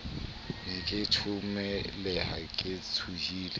ne ke thothomela ke tshohile